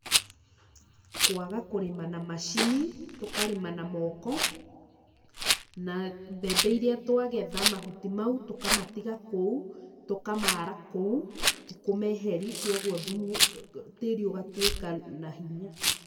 Kwaga kũrĩma na macini, tũkarĩma na moko, na mbembe iria twagetha mahuti mau tũkamatiga kũu, tũkamara kũu, tikũmeheri, kwoguo thumu, tĩri ũgatwĩka na hinya.